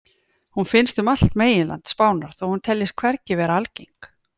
Hún finnst um allt meginland Spánar þó hún teljist hvergi vera algeng.